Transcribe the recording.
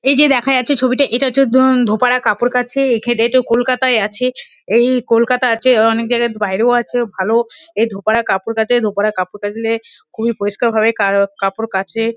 এইযে দেখা যাচ্ছে ছবিটা এটা হচ্ছে ধো ধোপারা কাপড় কাঁচে। কলকাতায় আছে। এই কলকাতা আছে। অনেকজায়গায় বাইরেও আছে। ভাল এ ধোপারা কাপড় কাছে। ধোপারা কাপড় কাঁচলে খুবই পরিষ্কার ভাবে কায় কাপড় কাঁচে।